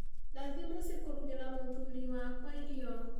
Ndathiĩ mũciĩ kũrugĩra mũthuuri wakwa irio